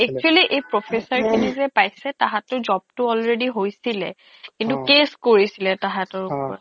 actually এই professor খিনিযে পাইছে তাহ্তৰ job টো already হৈছিলে কিন্তু অ কেচ কৰিছিলে অ তাহাতৰ ওপৰত